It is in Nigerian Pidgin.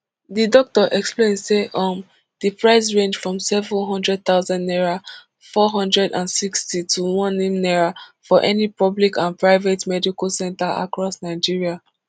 di doctor explain say um di price range from seven hundred thousand naira four hundred and sixty to onem naira for any public and private medical centre across nigeria